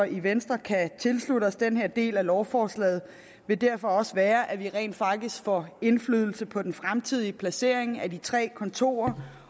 i venstre kan tilslutte os den her del af lovforslaget vil derfor også være at vi rent faktisk får indflydelse på den fremtidige placering af de tre kontorer